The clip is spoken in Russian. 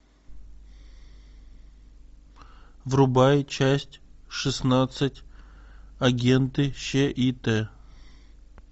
врубай часть шестнадцать агенты щит